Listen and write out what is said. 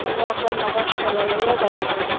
উনি একজন মানুষ ঠেলা লইয়া যাইতরা।